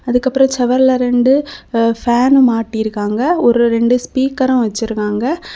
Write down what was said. அதுக்கப்பரோ செவர்ல ரெண்டு பேன்னு மாட்டிருக்காங்க ஓரு ரெண்டு ஸ்பீக்கரு வெச்சுருக்காங்க.